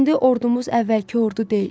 İndi ordumuz əvvəlki ordu deyil.